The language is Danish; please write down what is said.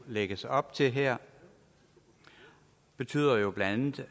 lægges op til her betyder jo blandt